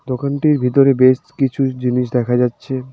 দোকানটির ভিতরে বেশ কিছু জিনিস দেখা যাচ্ছে।